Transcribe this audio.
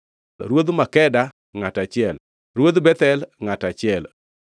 Ruodh Makeda, ngʼato achiel, Ruodh Bethel, ngʼato achiel,